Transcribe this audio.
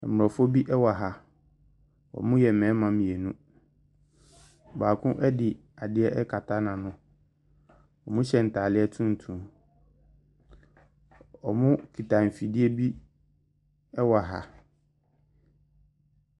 Mborɔfo bi ɛwɔ ha. Ɔmo yɛ mbɛɛma mienu. Baako ɛde adeɛ ɛkata n'ano. Ɔmo hyɛ ntaadeɛ tuntum. Ɔmo kita nfidie bi ɛwɔ ha.